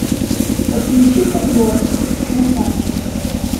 подключи подборку красавчик